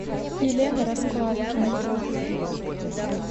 елена раскладкина